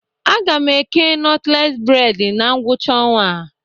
A ga m eke nọtles bred na ngwụcha ọnwa a